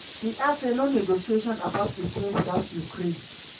e add say "no negotiation about ukraine witout ukraine."